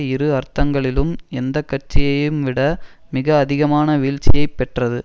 இரு அர்த்தங்களிலும் எந்த கட்சியையும் விட மிக அதிகமான வீழ்ச்சியை பெற்றது